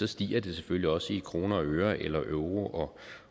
stiger det selvfølgelig også i kroner og øre eller euro